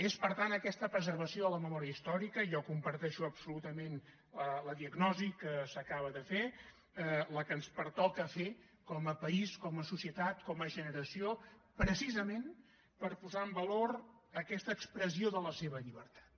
és per tant aquesta preservació de la memòria històrica jo comparteixo absolutament la diagnosi que s’acaba de fer la que ens pertoca fer com a país com a societat com a generació precisament per posar en valor aquesta expressió de la seva llibertat